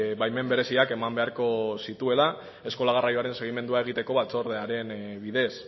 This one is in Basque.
baimen bereziak eman beharko zituela eskola garraioaren segimendua egiteko batzordearen bidez